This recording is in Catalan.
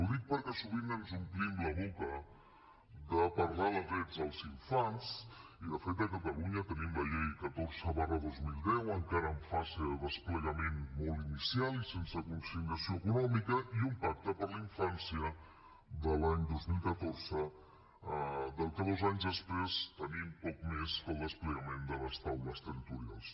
ho dic perquè sovint ens omplim la boca de parlar de drets dels infants i de fet a catalunya tenim la llei catorze dos mil deu encara en fase de desplegament molt inicial i sense consignació econòmica i un pacte per a la infància de l’any dos mil catorze de què dos anys després tenim poc més que el desplegament de les taules territorials